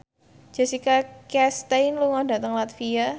Jessica Chastain lunga dhateng latvia